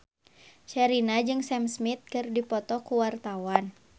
Sherina jeung Sam Smith keur dipoto ku wartawan